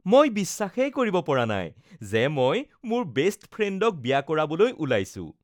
মই বিশ্বাসেই কৰিব পৰা নাই যে মই মোৰ বেষ্ট ফ্ৰেণ্ডক বিয়া কৰাবলৈ ওলাইছো